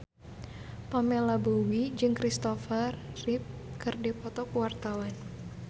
Pamela Bowie jeung Kristopher Reeve keur dipoto ku wartawan